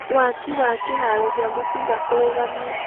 Waaki wa kĩharo gĩa mũbira kũrũgamio